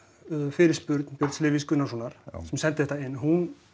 fyrirspurn Björns Levís Gunnarssonar sem sendi þetta inn hún